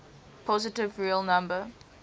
positive real number